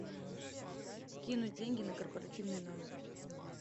кинуть деньги на корпоративный номер